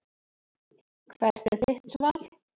Hvert er þitt svar?